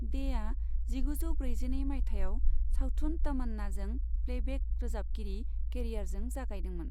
डेआ जिगुजौ ब्रैजिनै माइथायाव सावथुन तमन्नाजों प्लेबेक रोजाबगिरि केरियारजों जागायदोंमोन।